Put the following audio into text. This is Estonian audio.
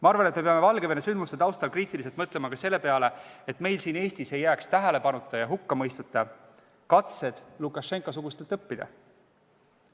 Ma arvan, et peame Valgevene sündmuste taustal kriitiliselt mõtlema ka selle peale, et meil siin Eestis ei jääks tähelepanuta ja hukkamõistuta katsed Lukašenka-sugustelt õppida.